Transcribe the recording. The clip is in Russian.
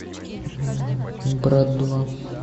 брат два